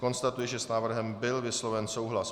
Konstatuji, že s návrhem byl vysloven souhlas.